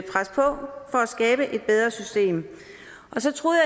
skabe et bedre system så troede